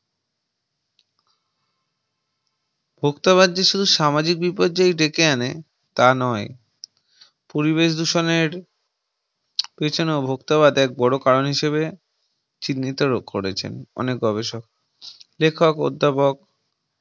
ভোক্তাবাদি শুধু সামাজিক বিপর্যয় ডেকে আনে তা নয় পরিবেশ দূষণের পেছনে ও ভোক্তাবাদ এক বড় কারণ হিসেবে চিহ্নিত করেছেন অনেক গবেষক লেখক অধ্যাপক